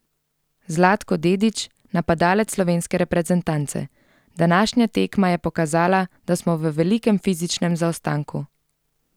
Zlatko Dedić, napadalec slovenske reprezentance: "Današnja tekma je pokazala, da smo v velikem fizičnem zaostanku.